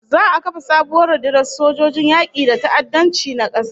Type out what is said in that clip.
Za'a kafa sabuwar rundunar sojojin yaki day ta'addanci na kasa